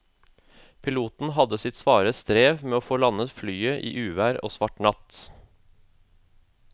Piloten hadde sitt svare strev med å få landet flyet i uvær og svart natt.